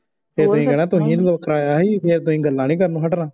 ਫੇਰ ਤੁਹੀ ਕਹਿਣਾ ਤੁਹੀ ਕਰਾਇਆ ਹੀ ਫੇਰ ਤੁਹੀ ਗੱਲਾਂ ਨਹੀਂ ਕਰਨੋ ਹੱਟਣਾ